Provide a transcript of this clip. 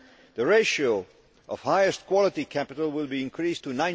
The ratio of highest quality capital will be increased to